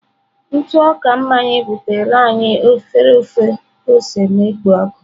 Ntụ ọka mmanya butere anyị efere ofe ose na-ekpo ọkụ.